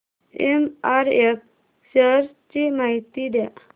MRF shares ची माहिती द्या